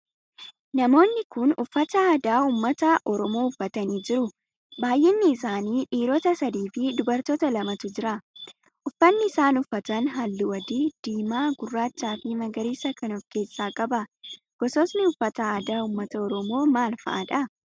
Namoonni kun uffata aadaa ummata oromoo uffatanii jiru. Baayyinni isaanii dhiirota sadi fi dubartoota lamatu jira. Uffanni isaan uffatan halluu adii, diimaa, gurraachaa fi magariisa of keessaa qaba. Gosootni uffata aadaa ummata oromoo maal fa'aadha?